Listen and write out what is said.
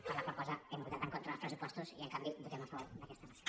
per la qual cosa hem votat en contra dels pressupostos i en canvi votem a favor d’aquesta moció